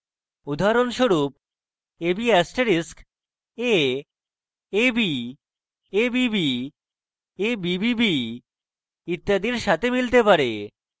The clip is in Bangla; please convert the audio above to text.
উদাহরণস্বরূপ ab * a ab abb abbb ইত্যাদির সাথে মিলতে পারে